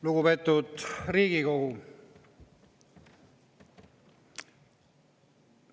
Lugupeetud Riigikogu!